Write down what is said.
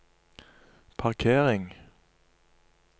parkering